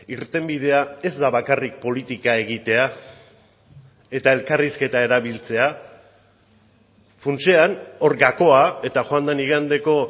irtenbidea ez da bakarrik politika egitea eta elkarrizketa erabiltzea funtsean hor gakoa eta joan den igandeko